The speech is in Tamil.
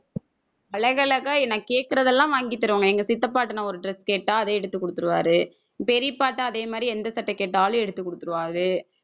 அழகழகா நான் கேட்கிறதெல்லாம் வாங்கித் தருவாங்க. எங்க சித்தப்பாட்ட நான் ஒரு dress கேட்டா அதை எடுத்து குடுத்துருவாரு, பெரியப்பா கிட்ட அதே மாதிரி எந்த சட்டை கேட்டாலும் எடுத்துக் கொடுத்திருவாரு.